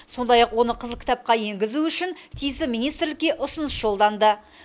сондай ақ оны қызыл кітапқа енгізу үшін тиісті министрлікке ұсыныс жолданды